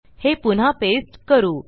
हे पुन्हा पेस्ट करू